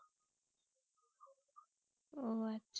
ও